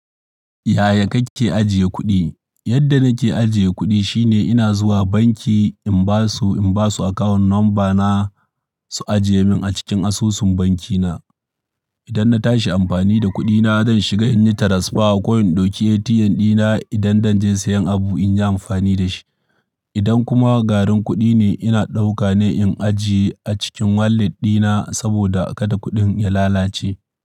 Yaya kake ajiye kuɗi? Yadda nake ajiye kuɗi shine ina zuwa banki in ba su, in ba su account number na su ajiye min a cikin asusun banki na. Idan na tashi amfani da kuɗi na, zan shiga in yi transfer ko in dauki ATM ɗina idan zan je sayen abu in yi amfani da shi. Idan kuma garin kuɗi ne, ina ɗauka ne in ajiye a cikin wallet ɗina saboda kada kuɗin ya lalace.